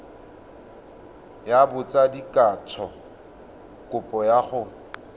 ya botsadikatsho kopo ya go